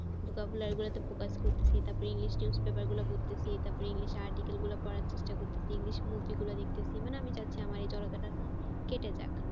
Vocabular গুলোতে focus করতেছি তারপরে english news paper গুলো পড়তেছি তারপরে english এ article গুলো পড়ার চেষ্টা করতেছি english movie গুলো দেখতেছি মানে আমি চাইছি আমার এই জড়তাটা কেটে যাক।